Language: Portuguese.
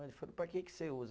Ele falou, para que que você usa?